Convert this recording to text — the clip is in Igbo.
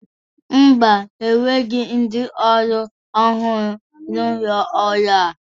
Mba, e nweghi ndi ọrụ ọhụrụ n'ụlọ ọrụ a.